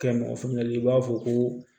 Kɛ mɔgɔ faamuyali b'a fɔ ko